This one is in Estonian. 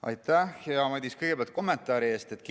Aitäh, hea Madis, kõigepealt kommentaari eest!